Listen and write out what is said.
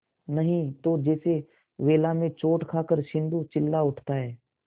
नहीं तो जैसे वेला में चोट खाकर सिंधु चिल्ला उठता है